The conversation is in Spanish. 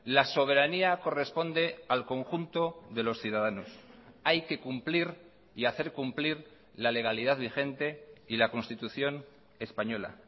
la soberanía corresponde al conjunto de los ciudadanos hay que cumplir y hacer cumplir la legalidad vigente y la constitución española